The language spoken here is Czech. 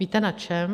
Víte na čem?